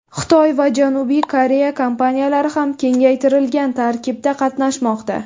Xitoy va Janubiy Koreya kompaniyalari ham kengaytirilgan tarkibda qatnashmoqda.